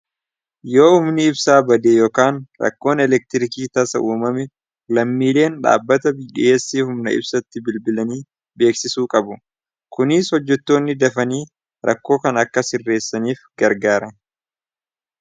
yoo umni ibsaa badee yookaan rakkoon eleektiriikii taasa uumame lammiileen dhaabbata bdhiyeessiif humna ibsatti bilbilanii beeksisuu qabu kuniis hojjetoonni dafanii rakkoo kan akka hirreessaniif gargaare